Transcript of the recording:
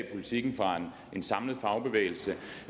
politiken en samlet fagbevægelse